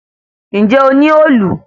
Ǹjé o ní òòlù?